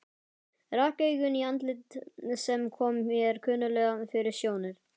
Rak augun í andlit sem kom mér kunnuglega fyrir sjónir.